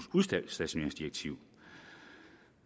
udstationeringsdirektiv